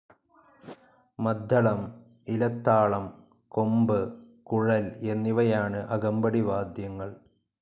മദ്ദളം, ഇലത്താളം, കൊമ്പ്, കുഴൽ എന്നിവയാണ് അകമ്പടി വാദ്യങ്ങൾ.